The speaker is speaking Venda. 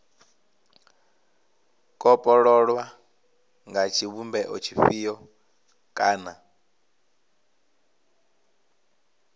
kopololwa nga tshivhumbeo tshifhio kana